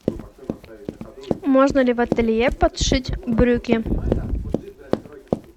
можно ли в ателье подшить брюки